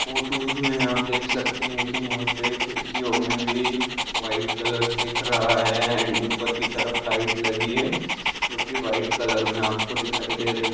photos में आप देख सकते है की यहा पे खिड़कीयो में भि वाइट कलर दिख रहा है एंड ऊपर की तरफ लाइट लगी है जोकि वाइट कलर में आपको दिखाई रही--